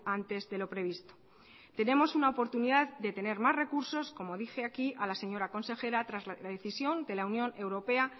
antes de lo previsto tenemos una oportunidad de tener más recursos como dije aquí a la señora consejera tras la decisión de la unión europea